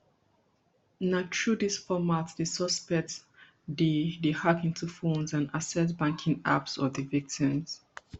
na through dis format di suspects dey dey hack into phones and access banking apps of di victims